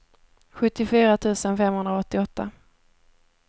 sjuttiofyra tusen femhundraåttioåtta